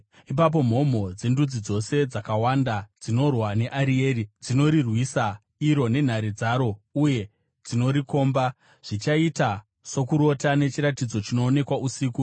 Ipapo mhomho dzendudzi dzose dzakawanda dzinorwa neArieri, dzinorirwisa iro nenhare dzaro uye dzinorikomba, zvichaita sokurota, nechiratidzo chinoonekwa usiku,